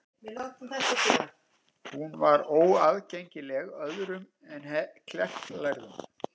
Hún var því óaðgengileg öðrum en klerklærðum.